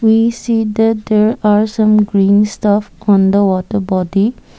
we see that there are some green stuff on the water body.